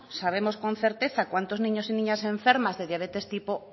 sabemos con certeza cuantos niños y niñas enfermas de diabetes tipo